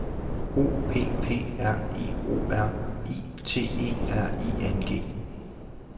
O P P R I O R I T E R I N G